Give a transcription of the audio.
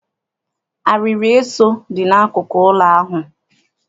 Arịrị eso dị n'akụkụ ụlọ ahụ.